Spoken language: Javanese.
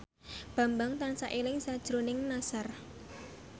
Bambang tansah eling sakjroning Nassar